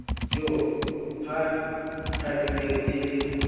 jo ha qwading e le